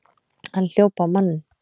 Hann hljóp á manninn!